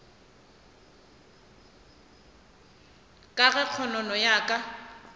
ka ge kgonono ya ka